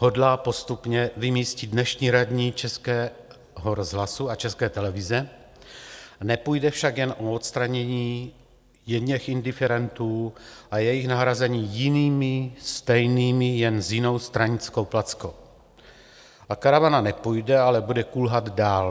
Hodlá postupně vymístit dnešní radní Českého rozhlasu a České televize, nepůjde však jen o odstranění jedněch indiferentů a jejich nahrazení jinými stejnými, jen s jinou stranickou plackou, a karavana nepůjde, ale bude kulhat dál.